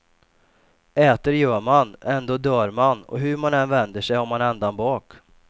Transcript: Äter gör man, ändå dör man och hur man än vänder sig har man ändan bak.